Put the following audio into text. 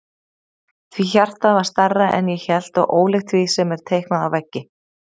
Því hjartað var stærra en ég hélt og ólíkt því sem er teiknað á veggi.